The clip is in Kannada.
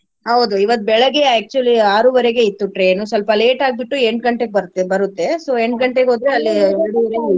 ಹೌದು ಇವತ್ತ್ ಬೆಳಗ್ಗೆ actually ಆರುವರೆಗೆ ಇತ್ತು train ನು ಸ್ವಲ್ಪ late ಆಗ್ಬಿಟ್ಟು ಎಂಟ್ ಗಂಟೆಗೆ ಬರತ್ತೆ ಬರುತ್ತೆ so ಹೋದ್ರೆ .